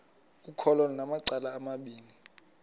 ukholo lunamacala amabini